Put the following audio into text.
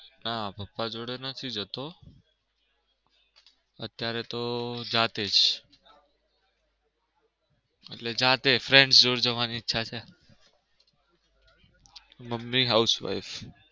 ના પપ્પા જોડે નથી જતો. અત્યારે તો જાતે જ એટલે જાતે friend જોડે જવાની ઈચ્છા છે. મમ્મી house wife